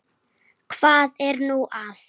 Hvað er nú það?